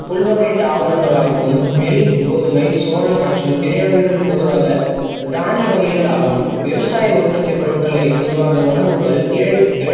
புள் வகை தாவரங்கலாகட்டும் நெல், கோதுமை, சோளம் மற்றும் திணைகள் பொதுவாக தனிய வகைகளாகும். விவசாய உற்பத்தி உரங்களை பொதுவாக உணவுகள் ஏ இனங்கள்